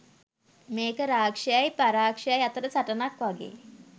මේක රාක්ෂයයි පරාක්ෂයයි අතර සටනක් වගේ